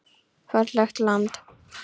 Fallegt land.